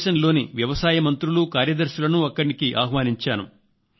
దేశంలోని వ్యవసాయ మంత్రులు కార్యదర్శులను అక్కడికి ఆహ్వానించాను